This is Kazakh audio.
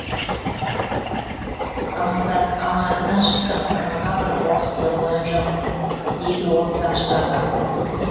алматыдан шықтым ырымға бір орыс көргенім жоқ дейді ол сақшыларға